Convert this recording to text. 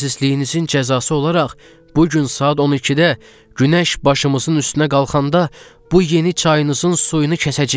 Xəsisliyinizin cəzası olaraq bu gün saat 12-də günəş başımızın üstünə qalxanda bu yeni çayınızın suyunu kəsəcəyik.